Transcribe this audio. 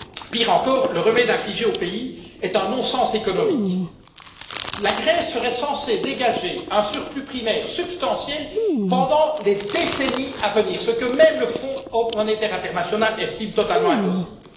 Pire encore, le remède infligé au pays est un non sens économique. La Grèce serait censée dégager un surplus primaire substantiel pendant les décennies à venir, ce que même le fonds monétaire international estime totalement impossible.